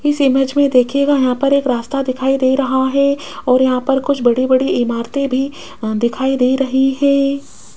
इस इमेज में देखिएगा यहाँ पर एक रास्ता दिखाई दे रहा हैं और यहाँ पर कुछ बड़ी बड़ी इमारतें भी दिखाई दे रही हैं।